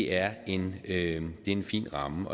er en en fin ramme